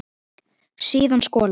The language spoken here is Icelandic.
Síðan skolað.